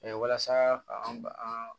walasa k'an ba an